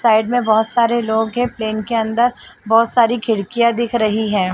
Side में बहोत सारे लोग है पलेन के अंदर बहोत सारी खिड़कियां दिख रही हैं।